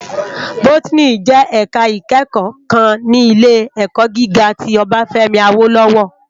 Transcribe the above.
Bótìní jè èká ikèékò kán ni ilé èkò gigá ti Obafemi Awolowo